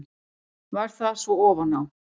Varð það svo ofan á.